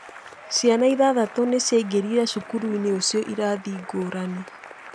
Ciana ithathatũ nĩ ciaingĩrire cukuru-inĩ ũcio irathi ngũrani.